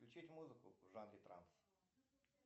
включить музыку в жанре транс